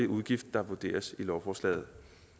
udgift der vurderes i lovforslaget